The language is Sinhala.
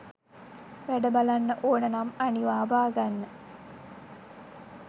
වැඩ බලන්න ඕන නම් අනිවා බාගන්න